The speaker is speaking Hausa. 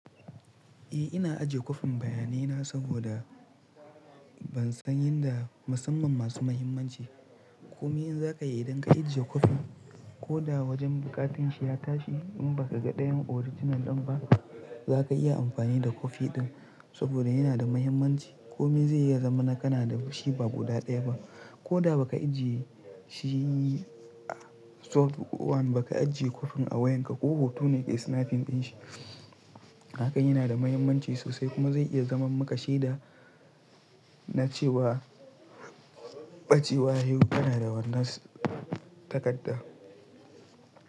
Eh ina ajiye kwafin bayanai na saboda ban san yanda musamman masu muhimmanci. Komi in za ka yi idan ka ajiye kwafin ko da wajen buƙatar shi ya tashi in ba ka ga ɗayan original ɗin ba za ka iya amfani da kwafi ɗin saboda yana da muhimmanci. Komi zai iya zama na kana da shi ba guda ɗaya ba ko da ba ka ajiye shi soft one ba ka ajiye kwafin a wayan ka ko hoto ne kai snapping ɗin shi. Hakan yana da muhimmanci sosai kuma zai iya zaman maka shaida na cewa ɓacewa yayi kana da wannan takarda.